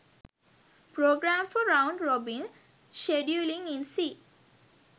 program for round robin scheduling in c